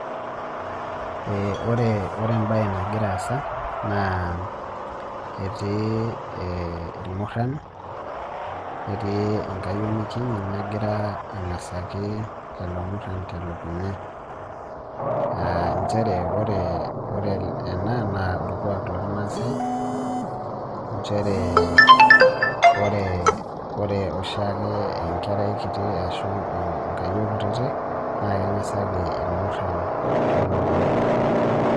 Ore embaye nagira aasa etii irmurran netii enkayioni kiti nagira ang'asaki lelo murrran telukunya aa nchere ore ena naa orkuaak lormaasai, ore oshi ake enkerai kiti ashu inkayiok kutitik naa keng'asaki irmurran tolukuny'.